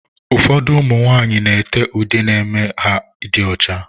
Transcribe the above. Ụfọdụ ụmụ nwanyị n'ete ude ga eme ha dị ọcha.